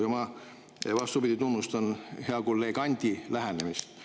Ja ma, vastupidi, tunnustan hea kolleegi Anti lähenemist.